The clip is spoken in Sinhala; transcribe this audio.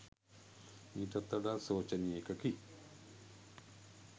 මීටත් වඩා ශෝචනීය එකකි